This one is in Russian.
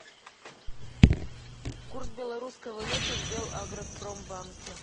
курс белорусской валюты в белагропромбанке